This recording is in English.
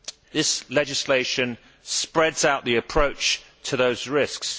This legislation spreads out the approach to those risks.